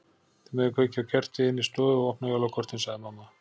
Þið megið kveikja á kerti inni í stofu og opna jólakortin sagði mamma.